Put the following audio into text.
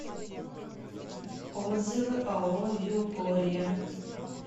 отзывы ао югория